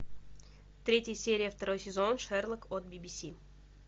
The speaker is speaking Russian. третья серия второй сезон шерлок от бибиси